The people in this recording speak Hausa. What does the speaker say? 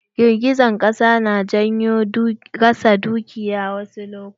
Girgijen ƙasa na janyo rasa dukiyoyi wasu lokutan.